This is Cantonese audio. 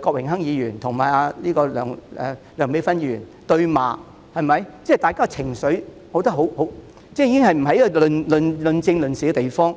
郭榮鏗議員與梁美芬議員對罵，我認為大家也有情緒，這已經變成不是論政、論事的地方。